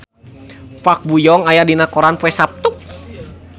Park Bo Yung aya dina koran poe Saptu